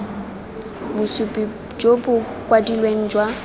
bosupi jo bo kwadilweng jwa